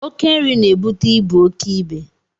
Oké nri na-ebute ibu oké ibe